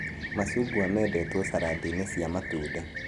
Macungwa mendetwo carandi-inĩ cia matunda